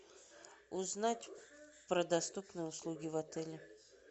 узнать про доступные услуги в отеле